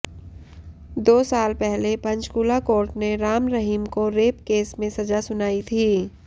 दो साल पहले पंचकुला कोर्ट ने राम रहीम को रेप केस में सजा सुनाई थी